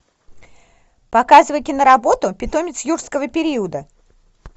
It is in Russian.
показывай киноработу питомец юрского периода